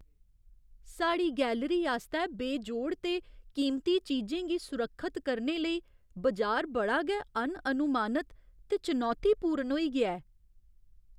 साढ़ी गैलरी आस्तै बेजोड़ ते कीमती चीजें गी सुरक्खत करने लेई बजार बड़ा गै अनअनुमानत ते चुनौतीपूर्ण होई गेआ ऐ ।